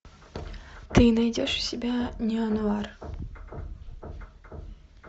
ты найдешь у себя нео нуар